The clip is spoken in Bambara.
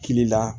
Kili la